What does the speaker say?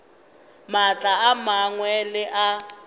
maatla a mangwe le a